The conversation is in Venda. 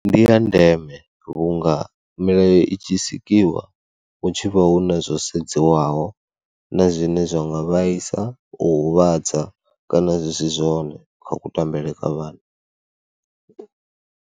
Ndi ya ndeme vhunga milayo i tshi sikiwa hu tshi vha hu na zwo sedzwaho na zwine zwa nga vhaisa, u huvhadza kana zwi si zwone kha kutambele kwa vhana.